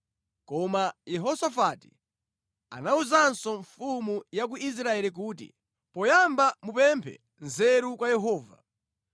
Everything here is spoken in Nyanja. Koma Yehosafati anawuzanso mfumu ya ku Israeli kuti, “Poyamba mupemphe nzeru kwa Yehova.”